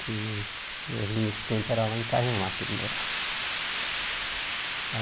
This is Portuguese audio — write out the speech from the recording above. Que eu vim nesse tempo era lá em Cajamá que ele morava.